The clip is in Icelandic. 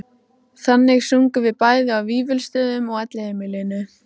Þannig sungum við bæði á Vífilsstöðum og Elliheimilinu